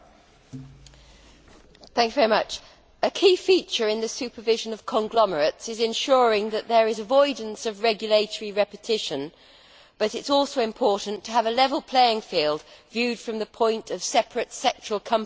Madam President, a key feature in the supervision of conglomerates is ensuring that there is avoidance of regulatory repetition, but it is also important to have a level playing field as viewed from the separate sectoral companies with which they compete.